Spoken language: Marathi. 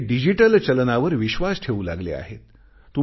ते डिजिटल चलनावर विश्वास ठेवू लागले आहेत